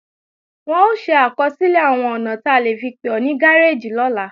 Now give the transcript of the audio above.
Wọn ó ṣe àkọsílẹ̀ àwọn ọ̀nà ta lè fi pè ó ní gáréèjì lọ́la